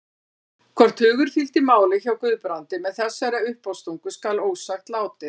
Hvort hugur fylgdi máli hjá Guðbrandi með þessari uppástungu skal ósagt látið.